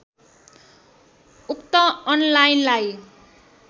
उक्त अनलाइनलाई